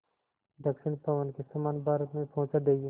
दक्षिण पवन के समान भारत में पहुँचा देंगी